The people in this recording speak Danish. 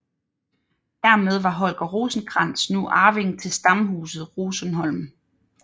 Hermed var Holger Rosenkrantz nu arving til Stamhuset Rosenholm